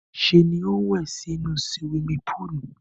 Ṣé ni ó ń wẹ̀ nínú suwimi púùlù.